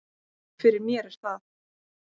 Fyrir mér er það